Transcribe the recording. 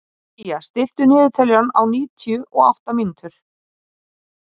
Día, stilltu niðurteljara á níutíu og átta mínútur.